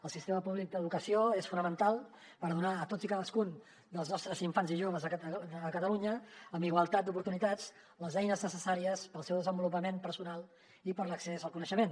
el sistema públic d’educació és fonamental per donar a tots i cadascun dels nostres infants i joves a catalunya amb igualtat d’oportunitats les eines necessàries per al seu desenvolupament personal i per a l’accés al coneixement